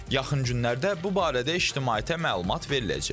Yaxın günlərdə bu barədə ictimaiyyətə məlumat veriləcək.